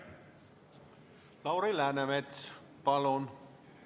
Lauri Läänemets, palun!